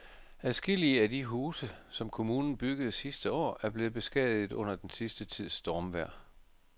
Adskillige af de huse, som kommunen byggede sidste år, er blevet beskadiget under den sidste tids stormvejr.